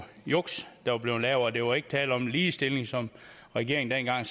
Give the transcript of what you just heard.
juks der var blevet lavet og der var ikke tale om en ligestilling som regeringen